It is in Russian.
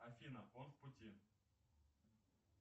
афина он в пути